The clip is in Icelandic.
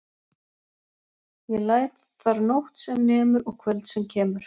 Ég læt þar nótt sem nemur og kvöld sem kemur.